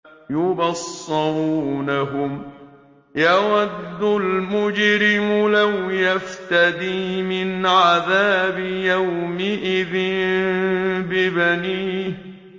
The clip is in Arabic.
يُبَصَّرُونَهُمْ ۚ يَوَدُّ الْمُجْرِمُ لَوْ يَفْتَدِي مِنْ عَذَابِ يَوْمِئِذٍ بِبَنِيهِ